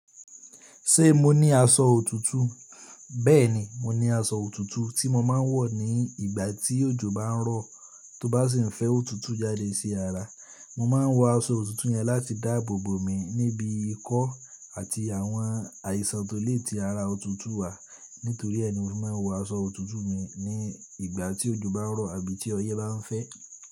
Ṣé mo ní aṣọ òtútù? Bẹ́ẹ̀ni, mo ní aṣọ òtútù tí mo máa ń wọ̀ ní ìgbà tí òjò bá ń rọ̀ tó bá sì ń fẹ́ òtútù jáde sí ara. Mo máa ń wọ aṣọ òtútù yẹn láti dáàbòbò mi níbi ikọ́ àti àwọn àìsàn tó le tí ara òtútù wà. Nítorí ẹ ni mo máa ń wọ aṣọ òtútù mi ní ìgbà tí òjò bá ń rọ̀ àbí tí ọyẹ́ bá ń fẹ́.